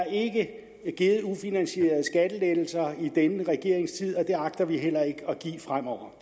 ikke er givet ufinansierede skattelettelser i denne regerings tid og det agter vi heller ikke at give fremover